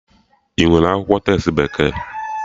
Inwere akwụkwọ testi bekee?